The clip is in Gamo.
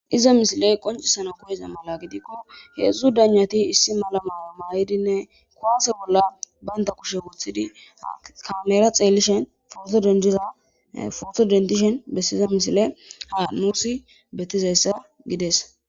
iza misiley qoncisana koyeza mala gidikko heedzdzu danyati issi malamaya mayidinne kuwathe bolla baynda kushe wothidi kamera xeellishen denizafosodendishen bessiza misile ha nuusi betizayssa gides